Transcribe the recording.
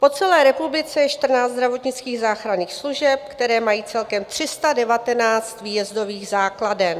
Po celé republice je 14 zdravotnických záchranných služeb, které mají celkem 319 výjezdových základen.